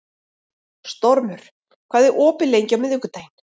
Stormur, hvað er opið lengi á miðvikudaginn?